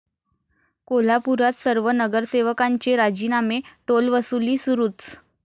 कोल्हापुरात सर्व नगरसेवकांचे राजीनामे, टोलवसुली सुरूच!